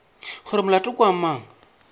gore molato ke wa mang